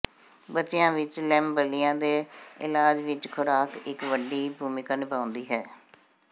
ਬੱਚਿਆਂ ਵਿੱਚ ਲੇਮਬਲਿਆ ਦੇ ਇਲਾਜ ਵਿੱਚ ਖੁਰਾਕ ਇੱਕ ਵੱਡੀ ਭੂਮਿਕਾ ਨਿਭਾਉਂਦੀ ਹੈ